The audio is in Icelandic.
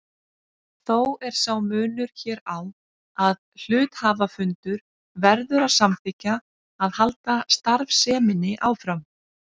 Þó er sá munur hér á að hluthafafundur verður að samþykkja að halda starfseminni áfram.